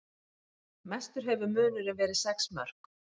Mestur hefur munurinn verið sex mörk